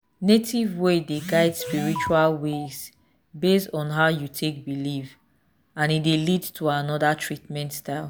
native ways dey guide spiritual ways based on how you take belief and e dey lead to another treatment style.